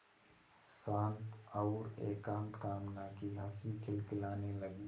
शांत और एकांत कामना की हँसी खिलखिलाने लगी